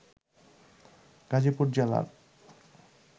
গাজীপুর জেলার